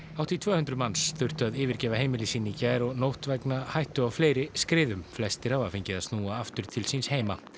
hátt í tvö hundruð manns þurftu að yfirgefa heimili sín í gær og nótt vegna hættu á fleiri skriðum flestir hafa fengið að snúa aftur til síns heima